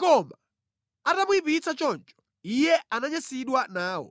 Koma atamuyipitsa choncho, iye ananyansidwa nawo.